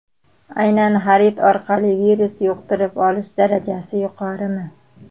Aynan xarid orqali virus yuqtirib olish darajasi yuqorimi?